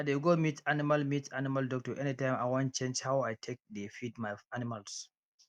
i dey go meet animal meet animal doctor anytime i wan change how i take dey feed my animals